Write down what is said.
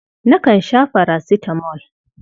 Nakan sha farasitamol.